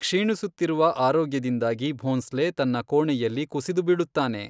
ಕ್ಷೀಣಿಸುತ್ತಿರುವ ಆರೋಗ್ಯದಿಂದಾಗಿ ಭೋಂಸ್ಲೆ ತನ್ನ ಕೋಣೆಯಲ್ಲಿ ಕುಸಿದು ಬೀಳುತ್ತಾನೆ.